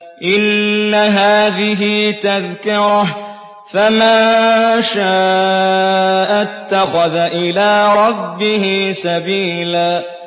إِنَّ هَٰذِهِ تَذْكِرَةٌ ۖ فَمَن شَاءَ اتَّخَذَ إِلَىٰ رَبِّهِ سَبِيلًا